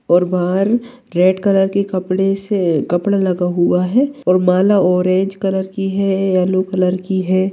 और बाहर red colour के कपड़े से कपड़ा लगा हुआ है और माला ऑरेंज कलर की है येल्लो कलर की है।